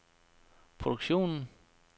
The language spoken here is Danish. produktionen